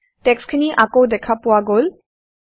টেক্সট্খিনি আকৌ দেখা পোৱা গল160